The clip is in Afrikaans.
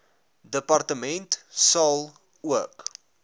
departement sal ook